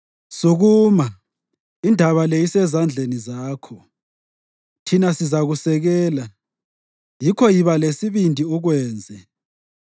Sukuma; indaba le isezandleni zakho. Thina sizakusekela, yikho yiba lesibindi ukwenze.”